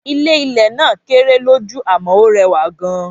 Ilé ilè náà kéré lójú àmó ọ rẹwà gan